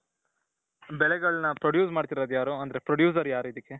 ಬೆಳೆಗಳ್ನ produce ಮಾಡ್ತಾ ಇರೋದು ಯಾರು? ಅಂದ್ರೆ producer ಯಾರಿದ್ದಕ್ಕೆ?